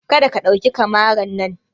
Kada ka ɗauki kamaran nan!